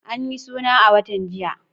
An yi suna a watan jiya.